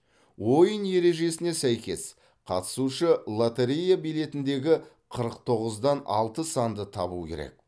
ойын ережесіне сәйкес қатысушы лоторея билетіндегі қырық тоғыздан алты санды табуы керек